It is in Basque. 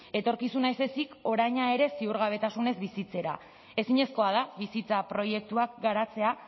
etorkizuna ez ezik oraina ere ziurgabetasunez bizitzera ezinezkoa da bizitza proiektuak garatzea